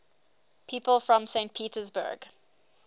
people from saint petersburg